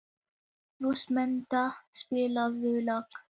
Rósmunda, spilaðu lag.